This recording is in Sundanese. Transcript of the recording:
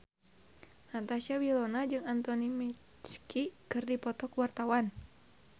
Natasha Wilona jeung Anthony Mackie keur dipoto ku wartawan